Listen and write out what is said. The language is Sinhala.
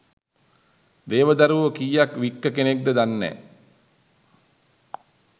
දේව දරුවො කීයක් වික්ක කෙනෙක්ද දන්නෑ?